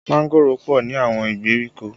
Mángòrò pọ ní àwọn ìgbèríko